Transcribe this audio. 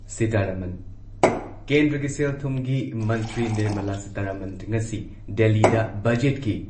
ꯁꯤꯇꯥꯔꯥꯃꯟ- ꯀꯦꯟꯗ꯭ꯔꯒꯤ ꯁꯦꯜ ꯊꯨꯝꯒꯤ ꯃꯟꯇ꯭ꯔꯤ ꯅꯤꯔꯃꯂꯥ ꯁꯤꯇꯥꯔꯥꯃꯟ ꯉꯁꯤ ꯗꯦꯜꯂꯤꯗ ꯕꯖꯦꯠꯀꯤ